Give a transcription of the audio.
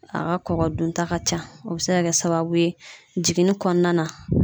A ka kɔkɔ dunta ka ca , o bɛ se ka kɛ sababu ye jiginni kɔnɔna na